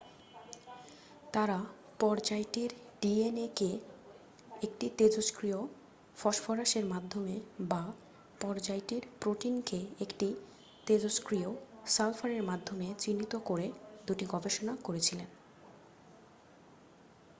তাঁরা পর্যায়টির ডিএনএ কে একটি তেজস্ক্রিয় ফসফরাসের মাধ্যমে বা পর্যায়টির প্রোটিনকে একটি তেজস্ক্রিয় সালফারের মাধ্যমে চিহ্নিত করে দুটি গবেষণা করেছিলেন